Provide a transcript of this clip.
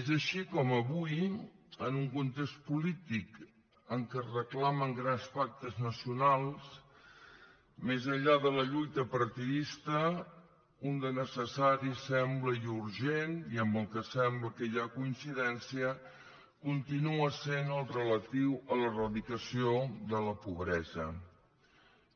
és així com avui en un context polític en què es reclamen grans pactes nacionals més enllà de la lluita partidista un de necessari sembla i urgent i en què sembla que hi ha coincidència continua sent el relatiu a l’eradicació de la pobresa